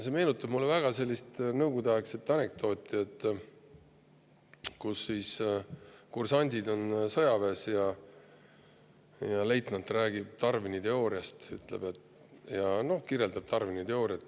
See meenutab mulle väga sellist nõukogudeaegset anekdooti, kus kursandid on sõjaväes ja leitnant räägib Darwini teooriast, kirjeldab seda.